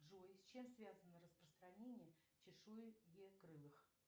джой с чем связано распространение чешуекрылых